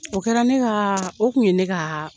O kɛra ne ka, o tun ye ne ka